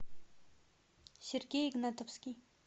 сергей игнатовский